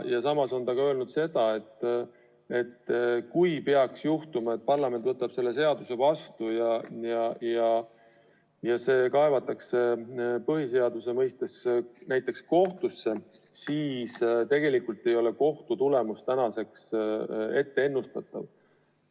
Ka on ta öelnud seda, et kui peaks juhtuma, et parlament võtab selle seaduse vastu ja see kaevatakse põhiseaduslikkuse seisukohalt kohtusse, siis ei ole kohtu otsus ette ennustatav.